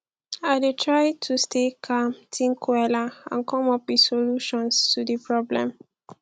i dey try to stay calm think wella and come up with solutions to di problems